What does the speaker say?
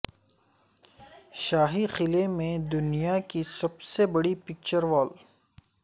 شاہی قلعے میں دنیا کی سب سے بڑی پکچر وال